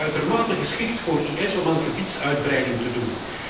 Het maakt het uitermate geschikt voor IS om aan gebiedsuitbreiding te doen.